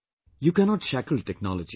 You cannot shackle technology